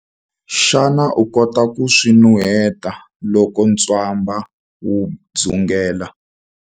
Xana u kota ku swi nuheta loko ntswamba wu dzungela?